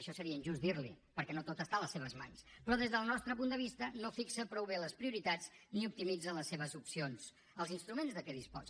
això seria injust dir li ho perquè no tot està a les seves mans però des del nostre punt de vista no fixa prou bé les prioritats ni optimitza les seves opcions els instruments de què disposa